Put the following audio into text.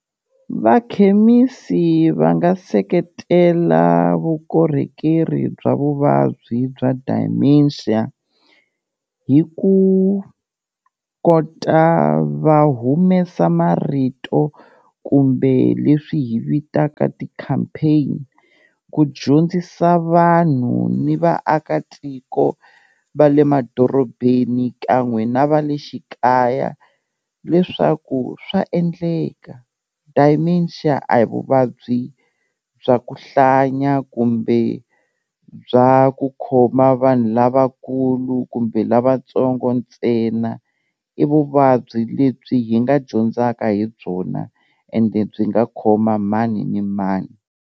Vakhemisi va nga seketela vukorhekeri bya vuvabyi bya dementia, hi ku kota va humesa marito kumbe leswi hi vitaka ti-campaign, ku dyondzisa vanhu ni vaakatiko va le madorobeni kan'we na va le xikaya leswaku swa endleka dementia a hi vuvabyi bya ku hlanya kumbe bya ku khoma vanhu lavakulu kumbe lavatsongo ntsena, i vuvabyi lebyi hi nga dyondzaka hi byona ende byi nga khoma mani ni mani.